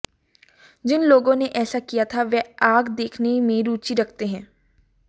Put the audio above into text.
जिन लोगों ने ऐसा किया था वह आग देखने में रुचि रखते हैं